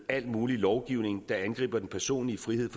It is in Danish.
al mulig lovgivning der angriber den personlige frihed